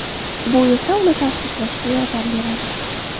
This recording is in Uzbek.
Bu esa uni tavsiflashga yordam beradi.